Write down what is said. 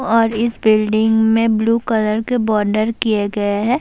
اور اس بلڈنگ میں بلو کلر کے بارڈر کیے گئے ہیں-